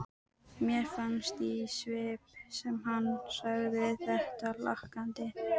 Mér fannst í svip sem hann segði þetta hlakkandi.